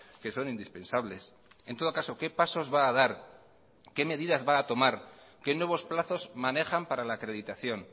que son indispensables en todo caso qué pasos va a dar qué medidas va a tomar qué nuevos plazos manejan para la acreditación